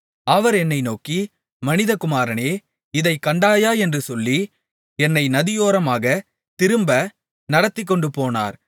அவர் என்னை நோக்கி மனிதகுமாரனே இதைக் கண்டாயா என்று சொல்லி என்னை நதியோரமாகத் திரும்ப நடத்திக்கொண்டுபோனார்